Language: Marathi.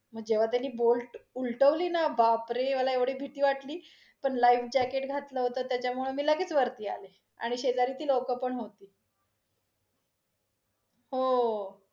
मग जेव्हा त्यांनी boat उलटवली ना बापरे! मला एवढी भीती वाटली, पण life jacket घतलं होत, त्याच्यामुळे मी लगेच वरती आले. आणि शेजारी ती लोकं पण होती. हो~